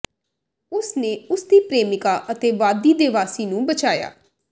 ਉਸ ਨੇ ਉਸ ਦੀ ਪ੍ਰੇਮਿਕਾ ਅਤੇ ਵਾਦੀ ਦੇ ਵਾਸੀ ਨੂੰ ਬਚਾਇਆ